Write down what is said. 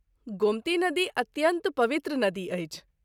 गोमती नदी अत्यन्त पवित्र नदी अछि।